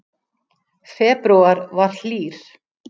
Febrúar var hlýr